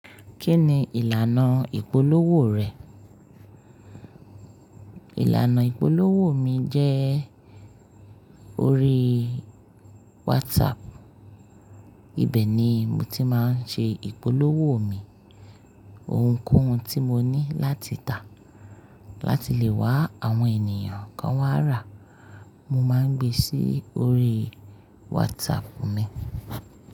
Kí ni ìlànà ìpolówó rẹ̀? Ìlànà ìpolówó mi jẹ́ orí WhatsApp. Ibẹ̀ ni mo ti máa ń ṣe ìpolówó mi. Ohunkóhun tí mo ní láti tà láti lè wá àwọn ènìyàn kan wá rà, mo máa ń gbe sí orí WhatsApp mi.